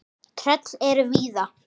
Tröll eru víða.